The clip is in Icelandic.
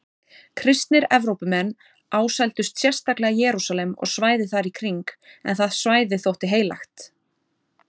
Kristnir Evrópumenn ásældust sérstaklega Jerúsalem og svæðið þar í kring en það svæði þótti heilagt.